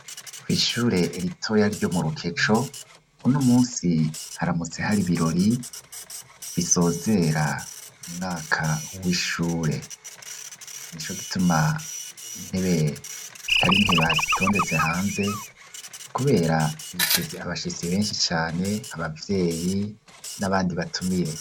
Kw'ishure ritoya ryo mu Rukeco, uno umunsi haramutse hari ibirori bisozera umwaka w'ishure. Nico gituma intebe zitari nkeba zitondetse hanze, kubera biteze abashisi benshi cane, abavyeyi n'abandi batumire.